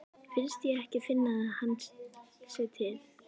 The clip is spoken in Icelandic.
Mér finnst ég ekki finna að hann sé til.